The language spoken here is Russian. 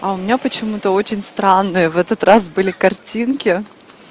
а у меня почему-то очень странные в этот раз были картинки